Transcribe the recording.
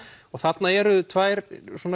og þarna eru tvær